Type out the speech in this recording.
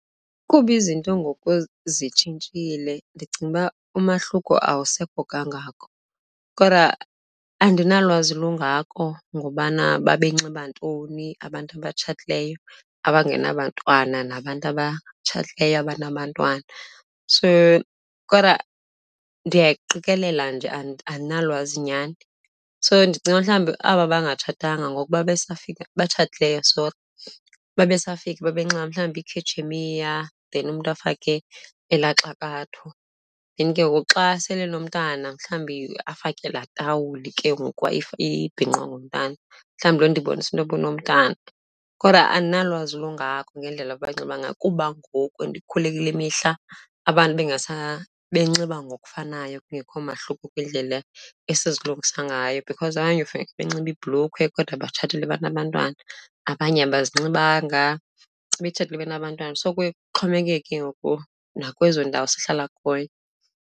Kuba izinto ngoku zitshintshile ndicinga uba umahluko awusekho kangako kodwa andinalwazi lungako ngobana babe nxiba ntoni abantu abatshatileyo abangenabantwana nabantu abatshatileyo abanabantwana, so kodwa ndiyaqikelela nje andinalwazi nyhani. So ndicinga mhlawumbi aba bangatshatanga ngoku babe safika, abatshatileyo sori, babe safika babe nxiba mhlawumbi iikhetshemshiya then umntu afake elaa xakatho. Then ke ngoku xa sele enomntana, mhlawumbi afake laa tawuli ke ngoku ibhinqwa ngumntana, mhlawumbi loo nto ibonisa into yoba unomntana. Kodwa andinalwazi lungako ngendlela abanxiba ngayo kuba ngoku ndikhule kule mihla abantu benxiba ngokufanayo, kungekho mahluko kwindlela esizilungisa ngayo. Because abanye ufika benxibe iibhulukhwe kodwa batshatile banabantwana, abanye abazinxibanga betshatile benabantwana. So kuye kuxhomekeke ke ngoku nakwezo ndawo sihlala kuyo.